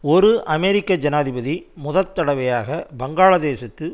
ஒரு அமெரிக்க ஜனாதிபதி முதற் தடவையாக பங்களாதேசுக்கு